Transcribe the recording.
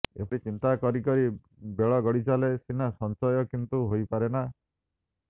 ଏପରି ଚିନ୍ତା କରି କରି ବେଳ ଗଡ଼ି ଚାଲେ ସିନା ସଞ୍ଚୟ କିନ୍ତୁ ହେହାଇପାରେନା